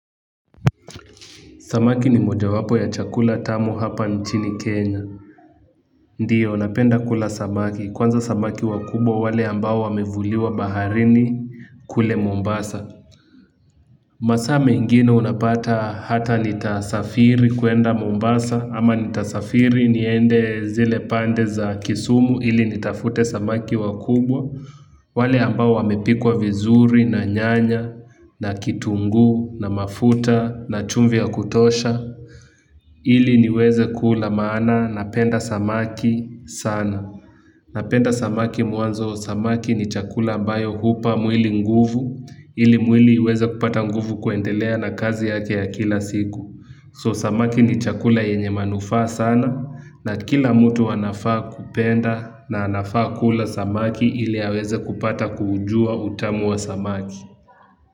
Samaki ni mojawapo ya chakula tamu hapa nchini Kenya. Ndiyo napenda kula samaki. Kwanza samaki wakubwa wale ambao wamevuliwa baharini kule Mombasa. Masaa mengine unapata hata nitasafiri kuenda Mombasa. Ama nitasafiri niende zile pande za kisumu ili nitafute samaki wakubwa. Wale ambao wamepikwa vizuri na nyanya na kitunguu na mafuta na chumvi ya kutosha. Ili niweze kula maana napenda samaki sana. Napenda samaki mwanzo samaki ni chakula ambayo hupa mwili nguvu ili mwili uweze kupata nguvu kuendelea na kazi yake ya kila siku. So samaki ni chakula yenye manufaa sana na kila mtu anafaa kupenda na anafaa kula samaki ili aweze kupata kuujua utamu wa samaki.